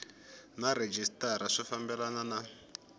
na rhejisitara swi fambelana na